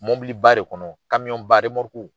Mɔbiliba de kɔnɔ, kamiyɔn ba eremɔrɔku,